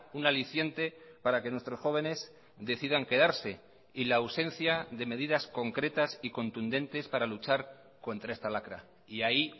un aliciente para que nuestros jóvenes decidan quedarse y la ausencia de medidas concretas y contundentes para luchar contra esta lacra y ahí